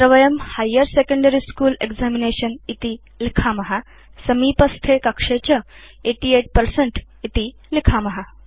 अत्र वयम् higher secondary school examination इति लिखाम समीपस्थे कक्षे च 88 पर्सेंट इति लिखाम